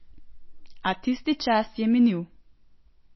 A tisti čas je minil.